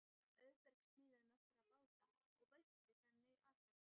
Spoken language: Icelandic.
Auðbergur smíðaði nokkra báta og veitti þannig atvinnu.